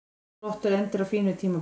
Flottur endir á fínu tímabili